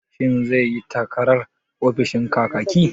Shin zai yi takarar ofishin Kakaki?